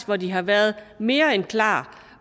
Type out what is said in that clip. hvor de har været mere end klar